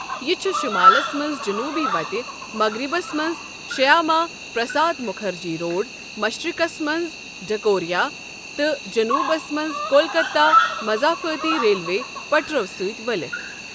یہِ چھُ شُمالَس منٛز جنوبی وتہِ، مغربَس منٛز شیاما پرساد مُکھرجی روڈ، مشرقَس منٛز ڈھکوریا، تہٕ جنوبَس منٛز کولکتہ مضافاتی ریلوے پٹرو سۭتۍ ؤلِتھ۔ ۔